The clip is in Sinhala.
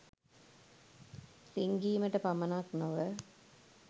රිංගීමට පමණක් නොව